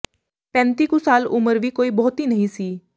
ਪੈਂਤੀ ਕੁ ਸਾਲ ਉਮਰ ਵੀ ਕੋਈ ਬਹੁਤੀ ਨਹੀਂ ਸੀ